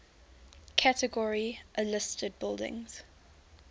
category a listed buildings